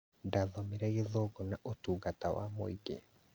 Ndathomire gĩthũngũ na ũtungata wa mũingĩ